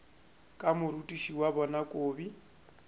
ka morutiši wa bona kobi